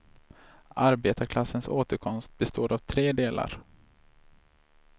Arbetarklassens återkomst består av tre delar.